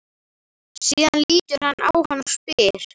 Síðan lítur hann á hana og spyr